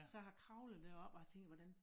Så jeg har kravlet deroppe og har tænkt hvordan